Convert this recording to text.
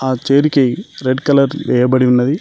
ఆ చైర్ కి red colour వెయబడి ఉన్నది.